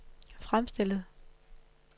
fremstillet